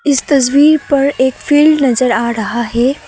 इस तस्वीर पर एक फील्ड नजर आ रहा है।